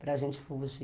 para a gente fugir.